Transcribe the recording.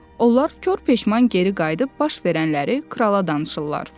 Onlar kürk peşman geri qayıdıb baş verənləri krala danışırlar.